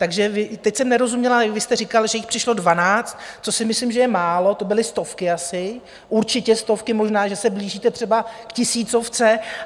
Takže teď jsem nerozuměla, vy jste říkal, že jich přišlo dvanáct, což si myslím, že je málo, to byly stovky asi, určitě stovky, možná že se blížíte třeba k tisícovce.